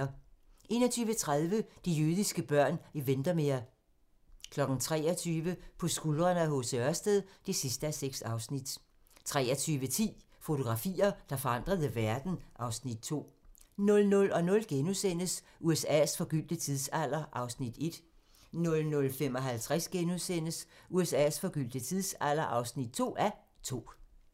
21:30: De jødiske børn i Windermere 23:00: På skuldrene af H. C. Ørsted (6:6) 23:10: Fotografier, der forandrede verden (Afs. 2) 00:00: USA's forgyldte tidsalder (1:2)* 00:55: USA's forgyldte tidsalder (2:2)*